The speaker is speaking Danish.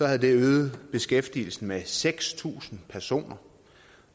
havde det øget beskæftigelsen med seks tusind personer